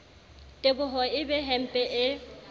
teboho e be hempe e